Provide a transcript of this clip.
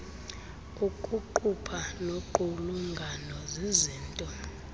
ukuqupha noqulungano zizinto